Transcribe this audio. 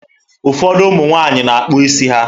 Ụfọdụ ụmụ nwaanyị na-akpụ isi ha.